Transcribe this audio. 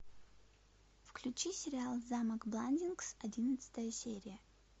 включи сериал замок бландингс одиннадцатая серия